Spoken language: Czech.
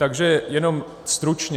Takže jenom stručně.